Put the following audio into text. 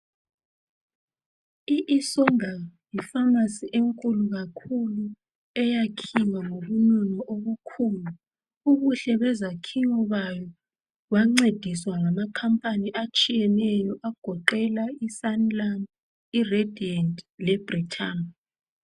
ISongam yi pharmacy enkulu kakhulu eyakhiwa ngobunono obukhulu. Ubuhle bezakhiwo bayo bancediswa ngamakhampani atshiyeneyo agoqela iSanlam, iRadiant leBritam